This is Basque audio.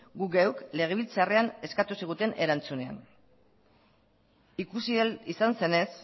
guk geuk legebiltzarrean eskatu ziguten erantzunean ikusi ahal izan zenez